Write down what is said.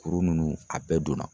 Kuru ninnu a bɛɛ donna.